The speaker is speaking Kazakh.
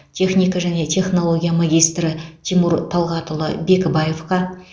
техника және технология магистрі тимур талғатұлы бекібаевқа